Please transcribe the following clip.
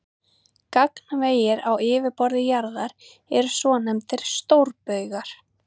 Gagnvegir á yfirborði jarðar eru svonefndir stórbaugar.